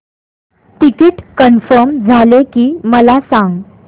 ticket confirm झाले की मला सांग